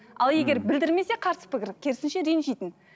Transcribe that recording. ал егер білдірмесе қарсы пікір керісінше ренжитін